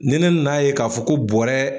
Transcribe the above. Ni ne nan'a ye k'a fɔ ko bɔrɛ